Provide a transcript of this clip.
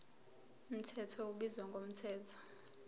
mthetho ubizwa ngomthetho